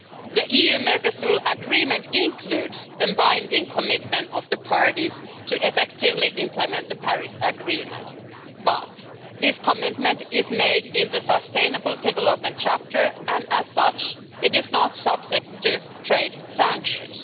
The EU-Mercosur Agreement includes a binding commitment for the parties to effectively implement the Paris Agreement, but this commitment is made in the sustainable development chapter and, as such, is not subject to trade sanctions.